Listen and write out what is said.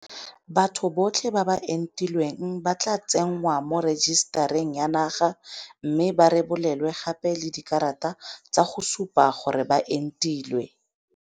Batho botlhe ba ba entilweng ba tla tsenngwa mo rejisetareng ya naga mme ba rebolelwe gape le dikarata tsa go supa gore ba entilwe.